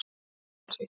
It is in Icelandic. Grjóthálsi